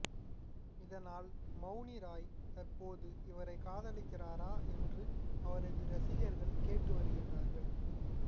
இதனால் மௌனி ராய் தற்போது இவரை காதலிக்கிறாரா என்று அவரது ரசிகர்கள் கேட்டு வருகிறார்கள்